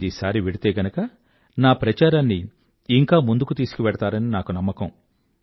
మీరీసారి వెళ్తే గనుక నా ప్రచారాన్ని ఇంకా ముందుకు తీసుకువెళ్తారని నాకు నమ్మకం